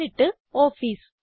എന്നിട്ട് ഓഫീസ്